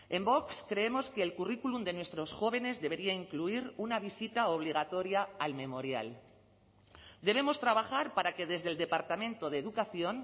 en vox creemos que el currículum de nuestros jóvenes debería incluir una visita obligatoria al memorial debemos trabajar para que desde el departamento de educación